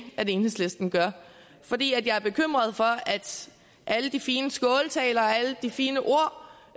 at enhedslisten gør fordi jeg er bekymret for at alle de fine skåltaler og alle de fine ord